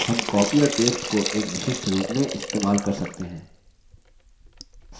हम copy और paste को एक विशिष्ट रूप में इस्तेमाल कर सकते हैं